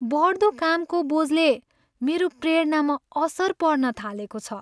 बढ्दो कामको बोझले मेरो प्रेरणामा असर पार्न थालेको छ।